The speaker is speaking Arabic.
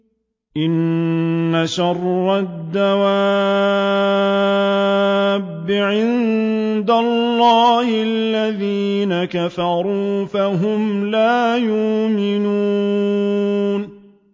إِنَّ شَرَّ الدَّوَابِّ عِندَ اللَّهِ الَّذِينَ كَفَرُوا فَهُمْ لَا يُؤْمِنُونَ